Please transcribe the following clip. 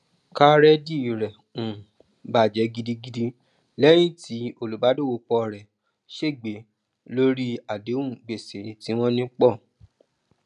kárédì rẹ um bajẹ gidigidi lẹyìn tí olùbàdọwọpọ rẹ ṣègbé lórí àdéhùn gbèsè tí wọn ní pọ